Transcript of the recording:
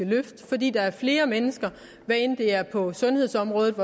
løfte fordi der er flere mennesker hvad enten det er på sundhedsområdet